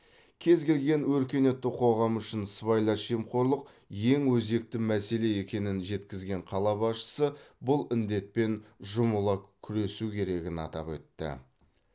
кез келген өркениетті қоғам үшін сыбайлас жемқорлық ең өзекті мәселе екенін жеткізген қала басшысы бұл індетпен жұмыла күресу керегін атап өтті